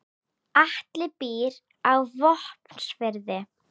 Atli býr á Vopnafirði.